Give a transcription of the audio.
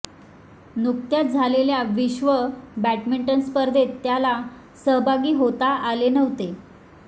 नुकत्याच झालेल्या विश्व बॅडमिंटन स्पर्धेत त्याला सहभागी होता आले नव्हते